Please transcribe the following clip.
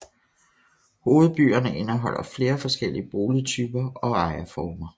Hovedbyerne indeholder flere forskellige boligtyper og ejerformer